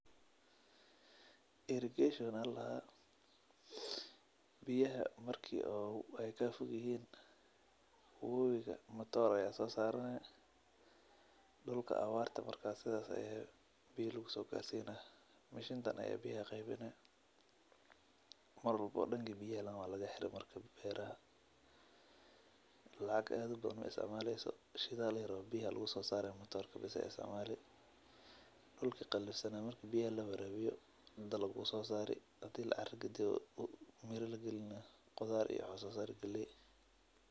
Irrigation aya ladaha biyaha marki ee ka fogyihin wowiga mataro aya sosarani marki awarta jirto biya aya lagu sogarsina mar walbo danka biyaha aya laga xira lacag aad u badan maisticmaleyso dulki qalifsana marki biya lawarawiyo dalag ayu sosari hadi kale wuxu sosari galey wanagsan.